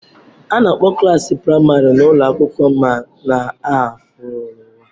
A na-akpọ klaasị praịmarị n'ụlọ akwụkwọ m n'aha fulawa.